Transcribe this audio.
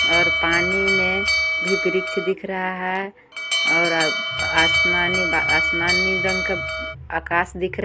और पानी में भी वृक्ष दिख रहा है और आ आसमानी बा आसमानी रंग का आकाश दिख र--